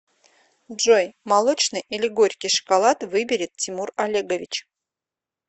джой молочный или горький шоколад выберет тимур олегович